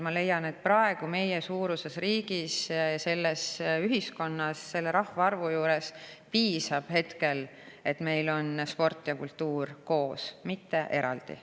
Ma leian, et meie riigi suuruses riigis, selles ühiskonnas, selle rahvaarvu juures piisab hetkel sellest, et meil on sport ja kultuur koos, mitte eraldi.